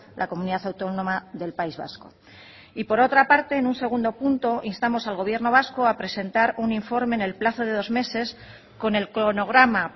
la comunidad autónoma del país vasco y por otra parte en un segundo punto instamos al gobierno vasco a presentar un informe en el plazo de dos meses con el cronograma